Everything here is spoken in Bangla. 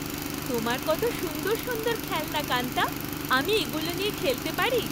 তোমার কত সুন্দর সুন্দর খেলনা, কান্তা। আমি এগুলো নিয়ে খেলতে পারি?